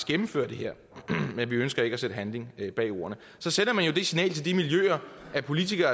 gennemføre det her men vi ønsker ikke at sætte handling bag ordene så sender man jo det signal til de miljøer at politikere